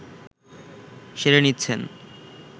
সেরে নিচ্ছেন